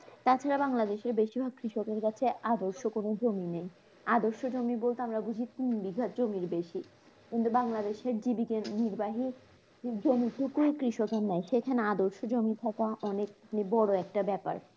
তাছাড়া বাংলাদেশের বেশিরভাগ কৃষকের কাছে আদর্শ কোন জমি নেই, আদর্শ জমি বলতে আমরা বুঝি তিন বিঘা জমির বেশি কিন্তু বাংলাদেশে জীবিকার নির্বাহী জমিটুকু কৃষকের নেই সেখানে আদর্শ জমি থাকা অনেক বড় একটা ব্যাপার